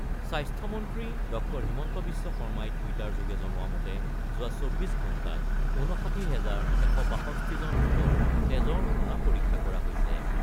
স্বাস্থ্যমন্ত্ৰী ড ০ হিমন্ত বিশ্ব শৰ্মাই টুইটাৰযোগে জনোৱা মতে যোৱা ২৪ ঘণ্টাত ৫৯ হেজাৰ ১৬২ জন লোকৰ তেজৰ নমুনা পৰীক্ষা কৰা হৈছে ।